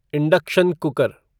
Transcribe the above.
induction cooker